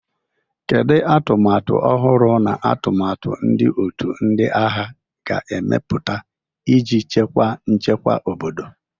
Kedu atụmatụ ọhụrụ na atụmatụ ndị otu ndị agha ga-emepụta iji chekwa nchekwa obodo?